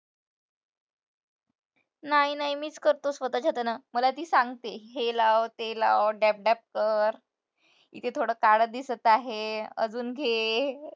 नाही नाही, मीच करतो स्वतःच्या हातानं, मला ती सांगते हे लाव ते लाव कर, इथे थोडं काळं दिसत आहे, अजून घे.